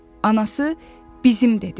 Anası: "Bizim" dedi.